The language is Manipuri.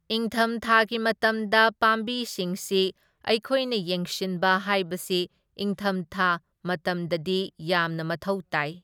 ꯏꯪꯊꯝ ꯊꯥꯒꯤ ꯃꯇꯝꯗ ꯄꯥꯝꯕꯤꯁꯤꯡꯁꯤ ꯑꯩꯈꯣꯏꯅ ꯌꯦꯡꯁꯤꯟꯕ ꯍꯥꯏꯕꯁꯤ ꯏꯪꯊꯝꯊꯥ ꯃꯇꯝꯗꯗꯤ ꯌꯥꯝꯅ ꯃꯊꯧ ꯇꯥꯢ꯫